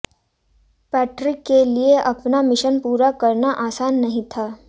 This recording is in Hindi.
पैट्रिक के लिए अपना मिशन पूरा करना आसान नहीं था